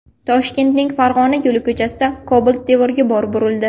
Toshkentning Farg‘ona yo‘li ko‘chasida Cobalt devorga borib urildi.